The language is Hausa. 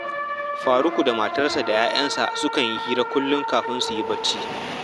Faruku da matarsa da 'ya'yansa sukan yi hira kullum kafin su yi barci